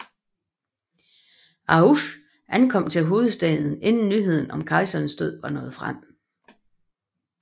Axouch ankom til hovedstaden inden nyheden om kejserens død var nået frem